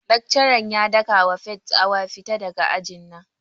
Laccaran ya daka wa Faith tsawa 'Fita daga aji na'!